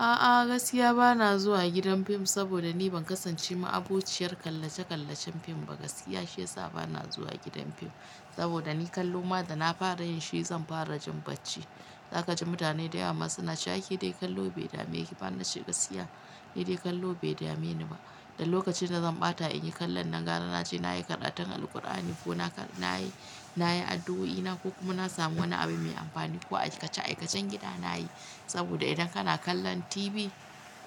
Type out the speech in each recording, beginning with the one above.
A'a gaskiya bana zuwa gidan fim saboda ni ban kasance ma abociyar kalle-kallacen fim ba. Gaskiya shi yasa bana zuwa gidan fim saboda ni kallo ma da na fara yin shi zan fara jin bacci. Zaka ji mutane da yawa suna cewa dai kallo bai dame ki ba nace gaskiya. Ni dai kallo bai dame ni ba. Da lokacin da zan ɓata in yi kallon nan gara na ce na yi karantan Alqur'ani ko na yi na yi addu'o'i na ko kuma na samu wani abu mai amfani ko aikace-aikacen gida na yi. Saboda idan kana kallon TV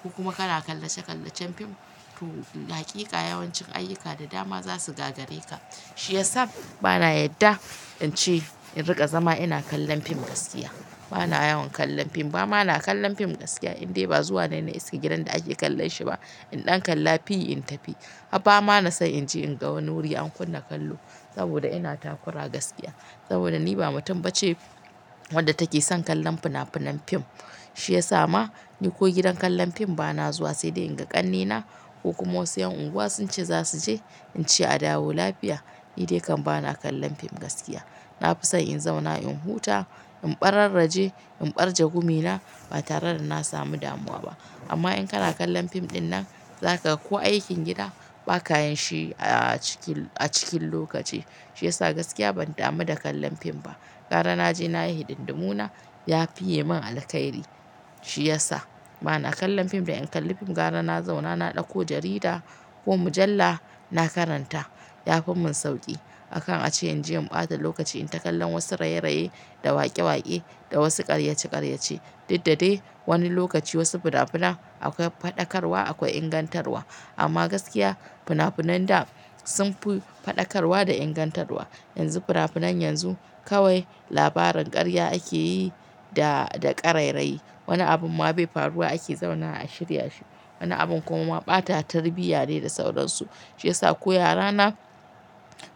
ko kuma kana kalle-kallecen fim to hakika yawancin ayyuka da dama za su gagare ka. Shi yasa bana yadda in ce in riƙa zama ina kallon fim gaskiya. Bana yawan kallon fim ba. Ma na kallon fim gaskiya indai ba zuwa nan na isa gidan da ake kallon shi ba. In ɗan kalla fi in tafi. Haba ma na so in je in ga wani wuri an kunna kallo saboda ina takura gaskiya. Saboda ni ba mutum ba ce wadda take son kallon fina-finan fim. Shi yasa ma ni ko gidan kallon fim bana zuwa sai dai in ga ƙannena ko kuma wasu 'yan unguwa sun ce za su je in ce a dawo lafiya. Ni dai kam bana kallon fim gaskiya. Na fi son in zauna in huta, in ɓararraje, in ɓarge gumina ba tare da na samu damuwa ba. Amma in kana kallon fim ɗin nan zaka kowa aikin gida ba ka yin shi a cikin a cikin lokaci. Shi yasa gaskiya ban damu da kallon fim ba. Gara na je na yi hidindimuna ya fi ye min alkhairi. Shi yasa bana kallon fim dai in kalli fim gara na zauna na ɗauko jarida ko mujalla na karanta ya fi mun sauƙi. Akan a ce in je in ɓata lokaci in ta kallon wasu raye-raye da waƙe-waƙe da wasu ƙaryace-ƙaryace. Duddade wani lokaci wasu fina-finai akwai faɗakarwa, akwai ingantarwa. Amma gaskiya fina-finan da sun fi faɗakarwa da ingantarwa yanzu fina-finan yanzu kawai labarin ƙarya ake yi da da ƙarairayi. Wani abun ma bai faruwa ake zauna a shirya shi. Wani abun kuma ma ɓata tarbiyya ne da sauransu. Shi yasa ko yarana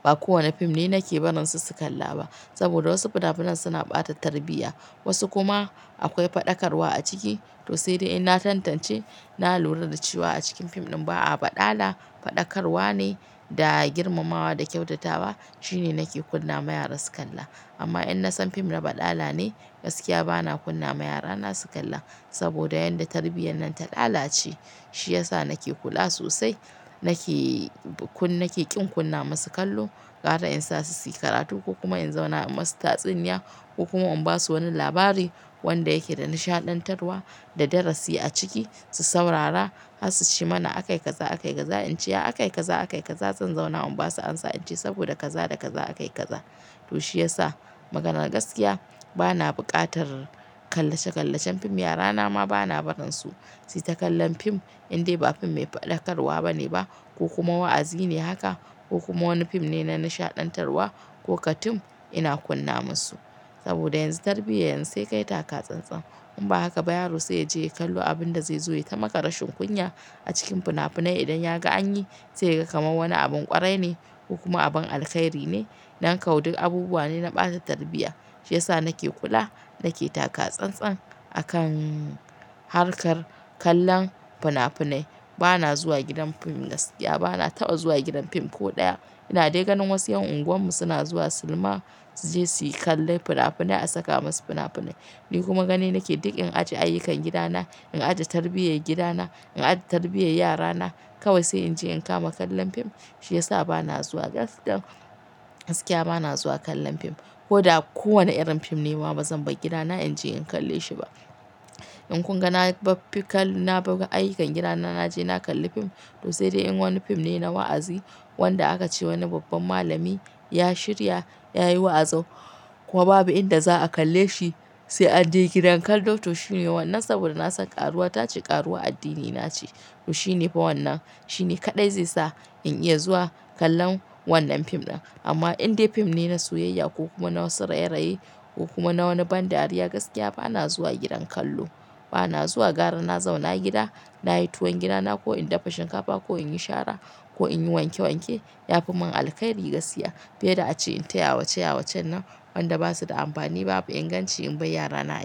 ba kowane fim ne nake barin su su kalla ba. Saboda wasu fina-finan suna ɓata tarbiyya wasu kuma akwai faɗakarwa a ciki. To sai dai in na tantance, na lura da cewa a cikin fim ɗin ba a baɗala, faɗakarwa ne da girmamawa da kyautatawa shine nake kunna ma yara su kalla. Amma in na san fim na baɗala ne gaskiya bana kunna ma yarana su kalla. Saboda yanda tarbiyyar nan ta lala ce shi yasa nake kula sosai nake kun nake ƙin kunna masu kallo gara in sa su yi karatu ko kuma in zauna masu tatsuniya ko kuma in basu wani labari wanda yake da nishaɗantarwa da darasi a ciki su saurara har su shima na akai kaza akai kaza in ce aka akai kaza akai kaza zan zauna in basu ansa in ce saboda kaza da kaza aka yi kaza. To shi yasa maganar gaskiya bana buƙatar kallce-kallacen fim. Yara na ma bana barin su su yi ta kallon fim indai ba fim mai faɗakarwa bane ba ko kuma wa'azi ne haka ko kuma wani fim ne na nishaɗantarwa ko katun ina kunna masu. Saboda yanzu tarbiyya yanzu sai kai taka tsan-tsan. In ba haka ba yaro sai ya je ya kallo abin da zai zo ya tamaka rashin kunya a cikin fina-finai idan ya ga an yi sai ya ga kamar wani abin ƙwarai ne kuma abin alkhairi ne. Nan kawai duk abubuwa ne na ɓata tarbiyya. Shi yasa nake kula nake taka tsan-tsan akan harkar kallon fina-finai. Bana zuwa gidan fim gaskiya bana taɓa zuwa gidan fim ko ɗaya. Ina dai ganin wasu 'yan unguwar mu suna zuwa silima su je su kalli fina-finai a saka masu fina-finai. Ni kuma gani nake duk in aje ayyukan gidana, in aje tarbiyyar gidana, in aje tarbiyyar yarana kawai sai in je in kama kallon fim. Shi yasa bana zuwa gaskam gaskiya bana zuwa kallon fim. Ko da kowane irin fim ne ma bazan bar gidana in je in kalle shi ba. In kuma na baf fi kallo na buga ayyukan gidana na je na kalli fim to sai dai in wani fim ne na wa'azi wanda aka ce wani babban malami ya shirya ya yi wa'azi ko babu inda za a kalle shi sai a je gidan kallo to shine wannan saboda na san ƙaruwa ta ci ƙaruwa a addini na ce. To shi ne fa wannan. Shi ne kaɗai zai sa in iya zuwa kallon wannan fim ɗin. Amma indai fim ne na soyayya ko kuma na wasu raye-raye ko kuma na wani ban dariya gaskiya bana zuwa gidan kallo. Bana zuwa gara na zauna gida, na yi tuwon gidana ko in dafa shinkafa ko in yi shara ko in yi wanke wanke ya fi mun alkhairi gaskiya. Fiye da a ce in ta yawace yawacen nan wanda ba su da amfani babu inganci in bar yarana.